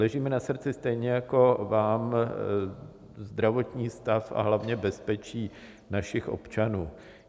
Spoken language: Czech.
Leží mi na srdci stejně jako vám zdravotní stav, a hlavně bezpečí našich občanů.